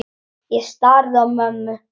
Ég starði á mömmu.